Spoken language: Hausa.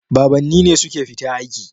Babanni ne suke fita aiki.